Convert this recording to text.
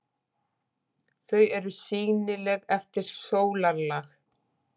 Þau eru sýnileg eftir sólarlag.